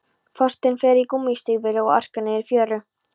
Forsetinn fer í gúmmístígvél og arkar niður í fjöru.